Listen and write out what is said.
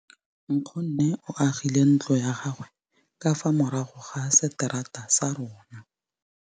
Nkgonne o agile ntlo ya gagwe ka fa morago ga seterata sa rona.